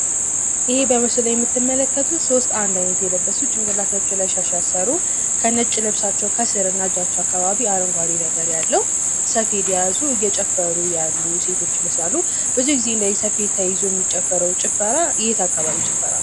ይህ በምስሉ ላይ የተመለከቱት ሶስት አንድ አይነት የለበሱ ጭንቅላታቸው ላይ ሻሸ ያሰሩ ከነጭ ልብሳቸው ከስርና እጃቸው አካባቢ አረንጓዴ ነገር ያለው ሰፌድ የያዙ እየጨፈሩ ያሉ ሴቶች ይመስላሉ። ብዙ ጊዜ እንደዚህ ሰፌድ ተይዞ የሚጨፈረው ጭፈራ የት አካባቢ ጭፈራ ነው?